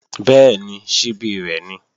Bẹ́ẹ̀ni, ṣíbí rẹ̀ ni